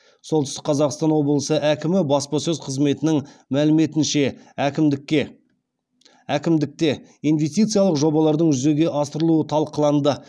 солтүстік қазақстан облысы әкімі баспасөз қызметінің мәліметінше әкімдікте инвестициялық жобалардың жүзеге асырылуы талқыланды